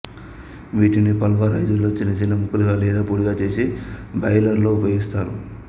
వీటిని పల్వ రైజరులో చిన్న చిన్న ముక్కలుగా లేదా పొడిగా చేసి బాయిలరులో ఉపయోగిస్తారు